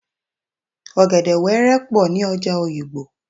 Ọ̀gẹ̀dè wẹ́rẹ́ pọ̀ ní ọjà Òyìgbò